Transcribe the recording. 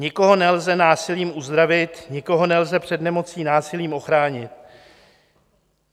Nikoho nelze násilím uzdravit, nikoho nelze před nemocí násilím ochránit.